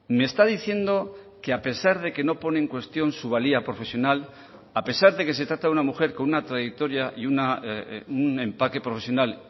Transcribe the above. me está diciendo que a pesar de que no pone en cuestión su valía profesional a pesar de que se trata de una mujer con una trayectoria y un empaque profesional